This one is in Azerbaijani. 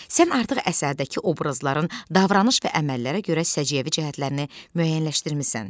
Sən artıq əsərdəki obrazların davranış və əməllərinə görə səciyyəvi cəhətlərini müəyyənləşdirmisən.